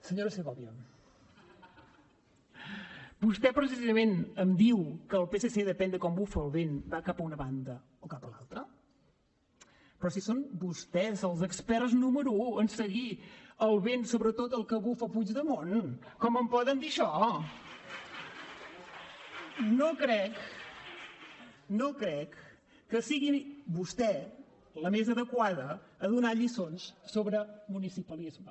senyora segovia vostè precisament em diu que el psc depèn de com bufa el vent va cap a una banda o cap a l’altra però si són vostès els experts número un en seguir el vent sobretot el que bufa puigdemont com em poden dir això no crec no crec que sigui vostè la més adequada per donar lliçons sobre municipalisme